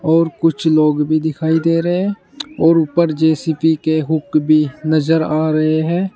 और कुछ लोग भी दिखाई दे रहे हैं और ऊपर जे_सी_बी के हुक भी नजर आ रहे हैं।